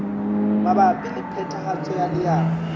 mabapi le phethahatso ya leano